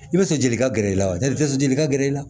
I bɛ fɛli ka gɛrɛ i la wali i tɛ sɔn joli ka gɛrɛ i la